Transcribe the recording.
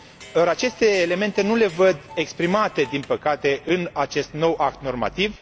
Or, aceste elemente nu le văd exprimate, din păcate, în acest nou act normativ.